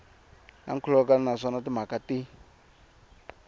na nkhulukelano naswona timhaka ti